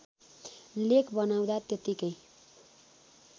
लेख बनाउँदा त्यत्तिकै